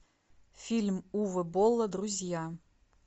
фильм уве болла друзья